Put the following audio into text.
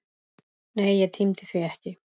Nei, ég tímdi því ekki!